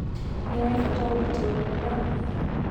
Nĩũĩ bata wa gũitĩrĩria mĩmera maĩ.